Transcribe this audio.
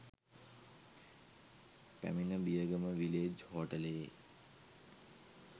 පැමිණ බියගම විලේඡ් හෝටලයේ